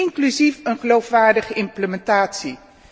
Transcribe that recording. inclusief een geloofwaardige implementatie.